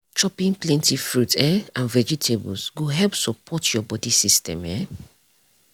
chopping plenty fruit um and vegetables go help support your body system. um